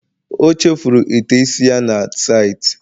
O chefuru ite isi ya na saịtị